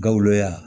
Gawo yan